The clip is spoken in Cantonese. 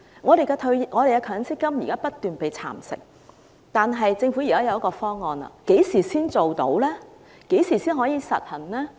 我們的強積金現在不斷被蠶食，現在政府提出了方案，但何時才能落實？